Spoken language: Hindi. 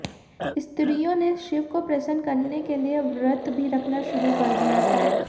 स्त्रियों ने शिव को प्रसन्न करने के लिए व्रत भी रखना शुरू कर दिया था